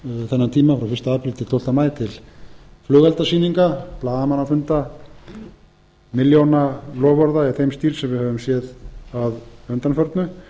þennan tíma frá fyrsta apríl til tólfta maí til flugeldasýninga blaðamannafunda milljónaloforða í þeim stíl sem við höfum séð að undanförnu